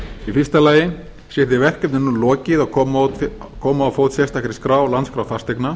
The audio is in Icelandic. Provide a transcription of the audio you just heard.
í fyrsta lagi sé því verkefni nú lokið að koma á fót sérstakri skrá landskrá fasteigna